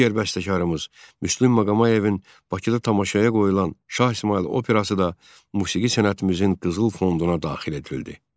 Digər bəstəkarımız Müslüm Maqomayevin Bakıda tamaşaya qoyulan Şah İsmayıl operası da musiqi sənətimizin qızıl fonduna daxil edildi.